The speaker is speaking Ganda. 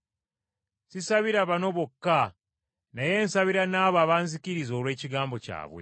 “Sisabira bano bokka naye nsabira n’abo abanzikiriza olw’ekigambo kyabwe,